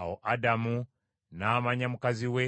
Awo Adamu n’amanya mukazi we,